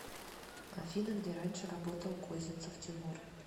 афина где раньше работал козинцев тимур